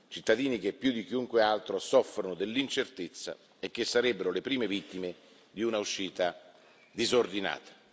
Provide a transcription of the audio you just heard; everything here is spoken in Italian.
Cittadini che, più di chiunque altro, soffrono dell'incertezza e che sarebbero le prime vittime di un'uscita disordinata.